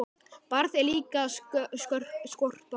Barð er líka skorpa hörð.